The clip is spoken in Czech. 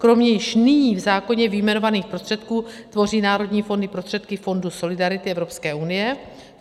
Kromě již nyní v zákoně vyjmenovaných prostředků tvoří národní fondy prostředky Fondu solidarity Evropské unie.